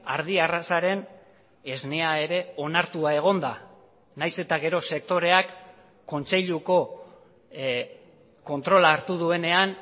ardi arrazaren esnea ere onartua egon da nahiz eta gero sektoreak kontseiluko kontrola hartu duenean